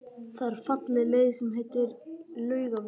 Það er falleg leið sem heitir Laugavegur.